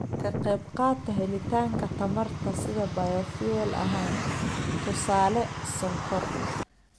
Ka qaybqaata helitaanka tamarta sida bayofuel ahaan (tusaale, sonkor).